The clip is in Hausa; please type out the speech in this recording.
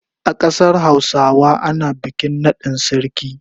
A kasar Hausawa ana bikin nadin sarki.